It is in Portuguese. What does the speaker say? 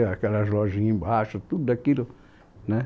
Aquelas lojinhas embaixo, tudo aquilo né